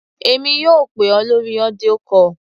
Èmi yóò pè ọ́ lórí audio call.